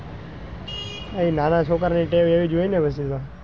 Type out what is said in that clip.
એ નાના છોકરા ને ટેવ એવી જ હોય ને પછી તો,